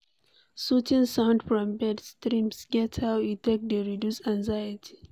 Soothing sound from birds, streams get how e take dey reduce anxiety